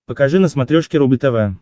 покажи на смотрешке рубль тв